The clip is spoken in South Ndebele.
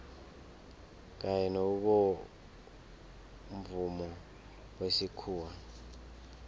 kanye nobomvumo wesikhuwa